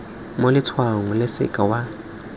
mo letshwaong o seke wa